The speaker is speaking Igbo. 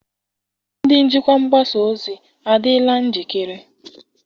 Ndị njikwa mgbasa ozi adịla njikere?